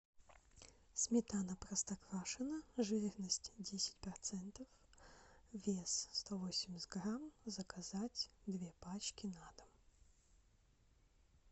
сметана простоквашино жирность десять процентов вес сто восемьдесят грамм заказать две пачки на дом